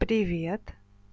привет